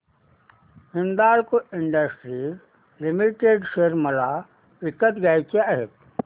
Hindalco industries limited share मला विकत घ्यायचे आहेत